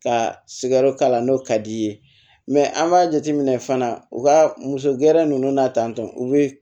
Ka sigɛriti k'a la n'o ka d'i ye an b'a jateminɛ fana u ka muso gɛrɛ ninnu na tantɔ u bɛ